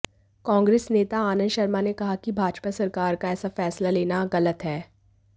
कांग्रेस नेता आनंद शर्मा ने कहा कि भाजपा सरकार का ऐसा फैसला लेना गलत है